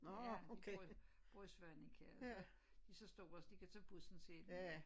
Ja de bor i bor i Svaneke og så de så store så de kan tage bussen selv